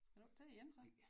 Skal du ikke til det igen så